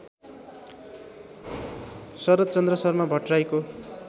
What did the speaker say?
Sharadchandra Sharma भट्टर्राईको